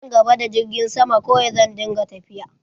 Nan gaba, da girgin sama kawai zan dinga tafiya.